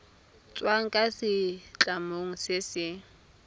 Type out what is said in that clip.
tswang kwa setlamong se se